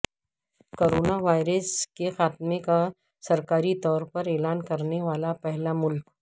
corona virus کے خاتمے کا سرکاری طور پر اعلان کرنے والا پہلا ملک